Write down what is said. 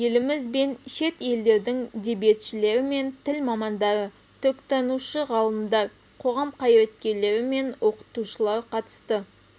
еліміз бен шет елдердің дебиетшілері мен тіл мамандары түркітанушы ғалымдар қоғам қайраткерлері мен оқытушылар қатысты